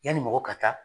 Yanni mɔgɔ ka taa